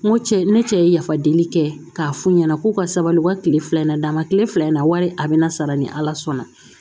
N ko cɛ ne cɛ ye yafa deli kɛ k'a f'u ɲɛna k'u ka sabali u ka tile fila in na d'a ma tile fila in na wari a bɛ na sara ni ala sɔnna